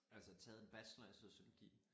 Altså taget en bachelor i psykologi